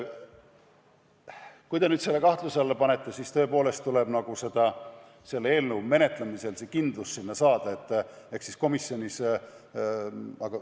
Kui te nüüd selle kahtluse alla panete, siis tõepoolest tuleb seda selle eelnõu menetlemisel arvestada ja see kindlus komisjonis sinna panna.